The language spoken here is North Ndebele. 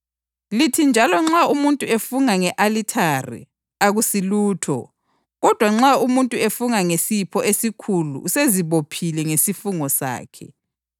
Lithi njalo, ‘Nxa umuntu efunga nge-alithare, akusilutho; kodwa nxa umuntu efunga ngesipho esikulo usezibophile ngesifungo sakhe.’